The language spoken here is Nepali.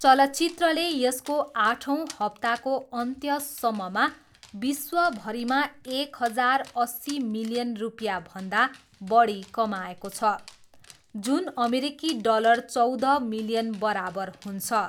चलचित्रले यसको आठौँ हप्ताको अन्त्यसम्ममा विश्वभरिमा एक हजार अस्सी मिलियन रुपियाँभन्दा बढी कमाएको छ जुन अमेरिकी डलर चौध मिलियन बराबर हुन्छ।